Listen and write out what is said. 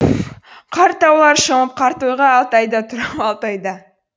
қарт таулар шомып қарт ойға алтайда тұр ау алтайда